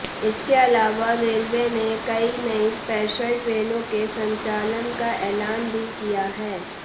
इसके अलावा रेलवे ने कई नई स्पेशल ट्रेनों के संचालन का ऐलान भी किया है